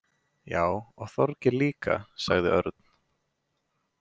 Já, og Þorgeir líka sagði Örn.